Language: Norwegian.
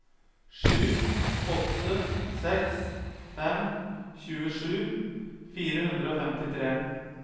sju åtte seks fem tjuesju fire hundre og femtitre